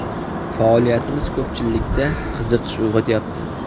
Faoliyatimiz ko‘pchilikda qiziqish uyg‘otyapti.